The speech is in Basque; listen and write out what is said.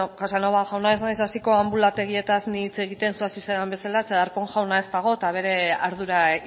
casanova jauna ez naiz hasiko anbulategietaz nik hitz egiten zu hasi zaren bezala zeren darpón jauna ez dago eta bere ardura